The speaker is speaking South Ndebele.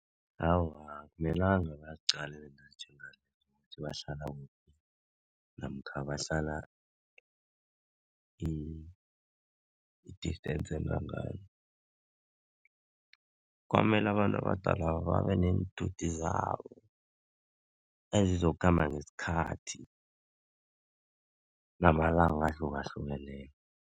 Awa akumelanga baziqale ukuthi bahlala kuphi namkha bahlala i-distace engangani. Kwamele abantu abadala babe neenthuthi zabo ezizokukhamba ngesikhathi namalanga ahlukahlukeneko.